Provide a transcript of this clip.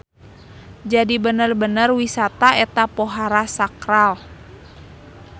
Jadi bener-bener wisata eta pohara sakral.